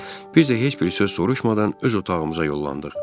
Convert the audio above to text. Biz də heç bir söz soruşmadan öz otağımıza yollandıq.